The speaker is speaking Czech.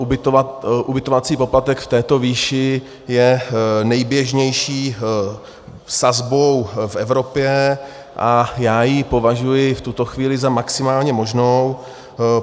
Ubytovací poplatek v této výši je nejběžnější sazbou v Evropě a já ji považuji v tuto chvíli za maximálně možnou.